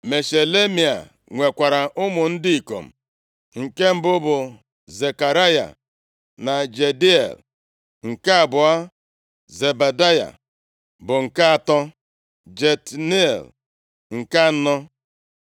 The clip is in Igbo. Meshelemaia nwekwara ụmụ ndị ikom: nke mbụ bụ Zekaraya, na Jediael nke abụọ, Zebadaya, bụ nke atọ, Jatniel, nke anọ